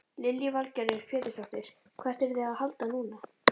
Lillý Valgerður Pétursdóttir: Hvert eruð þið að halda núna?